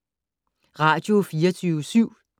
Radio24syv